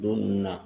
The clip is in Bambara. Don nunnu na